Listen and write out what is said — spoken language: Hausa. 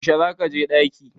Yaushe za ka je ɗaki?